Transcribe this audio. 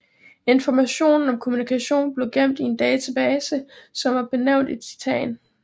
Informationen om kommunikationen blev gemt i en database som var benævnt Titan